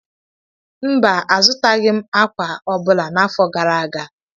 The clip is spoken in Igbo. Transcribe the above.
mba, azụtaghị m ákwà ọ bụla n’afọ gara aga